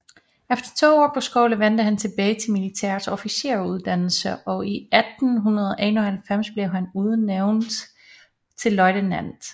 Efter to år på skole vendte han tilbage til militærets officersuddannelse og 1891 blev han udnævnt til løjtnant